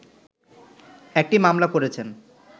একটি মামলা করেছেন